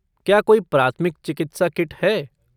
क्या कोई प्राथमिक चिकित्सा किट है?